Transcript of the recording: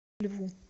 льву